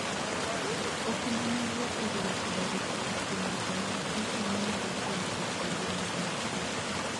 okumba mar wuoth oriwo koda ritruok kuom weche mag pesa manyalo konyo e kinde mag masira.